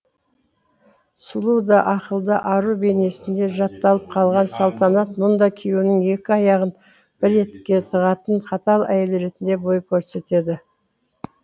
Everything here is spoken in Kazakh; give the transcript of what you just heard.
сұлу да ақылды ару бейнесінде жатталып қалған салтанат мұнда күйеуінің екі аяғын бір етікке тығатын қатал әйел ретінде бой көрсетеді